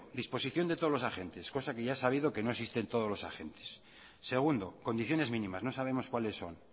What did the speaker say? disposición de todos los agentes cosa que ya he sabido que no existen todos los agentes segundo condiciones mínimas no sabemos cuáles son